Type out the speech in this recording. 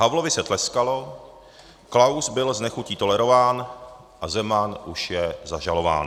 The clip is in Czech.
Havlovi se tleskalo, Klaus byl s nechutí tolerován a Zeman už je zažalován.